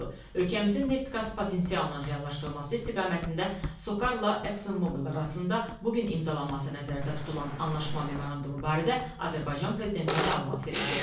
Ölkəmizin neft-qaz potensialının reallaşdırılması istiqamətində SOCAR-la Exxon Mobil arasında bu gün imzalanması nəzərdə tutulan anlaşma memorandumu barədə Azərbaycan Prezidentinə məlumat verildi.